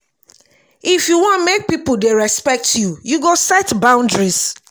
if you wan make pipo dey respect you you go set boundaries.